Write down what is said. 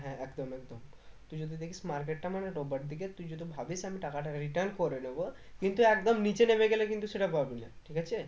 হ্যাঁ একদম একদম তুই যদি দেখিস market টা মানে ডোবার দিকে তুই যদি ভাবিস যে আমি টাকাটা return করে নেবো কিন্তু একদম নিচে নেবে গেলে কিন্তু সেটা পারবি না ঠিক আছে